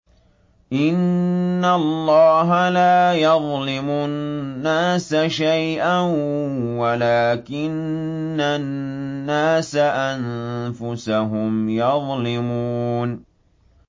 إِنَّ اللَّهَ لَا يَظْلِمُ النَّاسَ شَيْئًا وَلَٰكِنَّ النَّاسَ أَنفُسَهُمْ يَظْلِمُونَ